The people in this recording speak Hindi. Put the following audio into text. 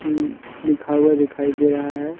लिखा हुआ दिखाई दे रहा है।